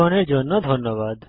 অংশগ্রহনের জন্য ধন্যবাদ